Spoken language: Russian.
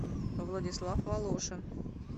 владислав волошин